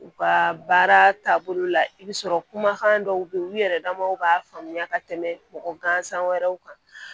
U ka baara taabolo la i bɛ sɔrɔ kumakan dɔw bɛ yen olu yɛrɛ damaw b'a faamuya ka tɛmɛ mɔgɔ gansan wɛrɛw kan